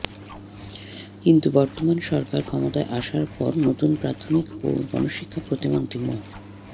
কিন্তু বর্তমান সরকার ক্ষমতায় আসার পর নতুন প্রাথমিক ও গণশিক্ষা প্রতিমন্ত্রী মো